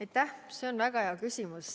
Aitäh, see on väga hea küsimus!